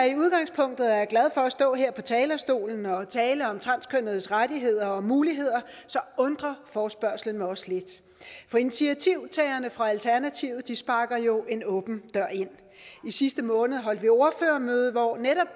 i udgangspunktet er glad for at stå her på talerstolen og tale om transkønnedes rettigheder og muligheder undrer forespørgslen mig også lidt for initiativtagerne fra alternativet sparker jo en åben dør ind i sidste måned holdt vi ordførermøde hvor netop